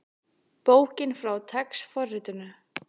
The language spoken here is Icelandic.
Bókin með TeX forritinu.